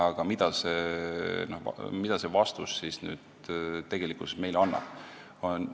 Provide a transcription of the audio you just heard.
Kuid mida see vastus meile annab?